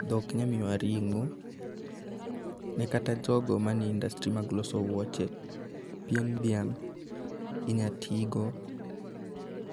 Dhok nya miyowa ring'o. Ne kata jogo mnie industry mag loso wuoche, pien dhiang' inya tigo